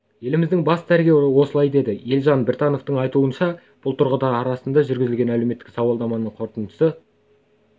еліміздің бас дәрігері осылай деді елжан біртановтың айтуынша бұл тұрғындар арасында жүргізілген әлеуметтік сауалнаманың қорытындысы